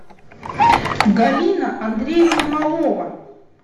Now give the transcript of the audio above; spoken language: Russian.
галина андреевна малова